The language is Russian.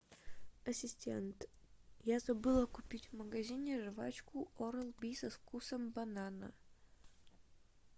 ассистент я забыла купить в магазине жвачку орал би со вкусом банана